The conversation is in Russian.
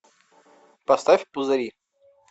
поставь пузыри